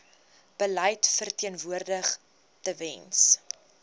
beleid verteenwoordig tewens